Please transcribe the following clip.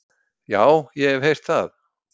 """Já, ég hef heyrt það."""